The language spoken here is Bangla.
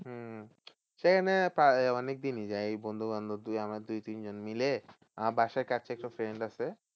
হম সেখানে অনেকদিনই যাই এই বন্ধু বান্ধব আমরা দুই তিনজন মিলে আহ আমার বাসার কাছে একটা friend আছে